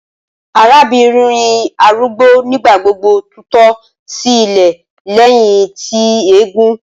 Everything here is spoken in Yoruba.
Arabinrin arugbo nigbagbogbo tutọ si ilẹ lẹhin ti eegun